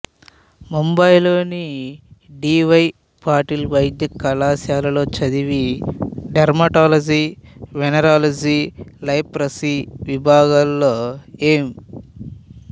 ముంబైలోని D Y Patil వైద్యకళాశాలలో చదివి డెర్మటాలజీ వెనెరాలజీ లెప్రసీ విభాగాలలో ఎం